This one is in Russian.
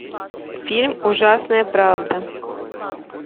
фильм ужасная правда